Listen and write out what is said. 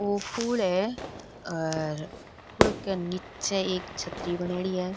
वो पुल है आर पुल के निचे एक छतरी बनायेदि है।